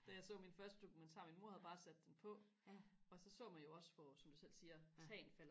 da jeg så min første dokumentar min mor havde bare sat den på og så så man jo også hvor som du selv siger tagene faldt